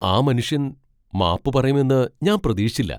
ആ മനുഷ്യൻ മാപ്പ് പറയുമെന്ന് ഞാൻ പ്രതീക്ഷിച്ചില്ല.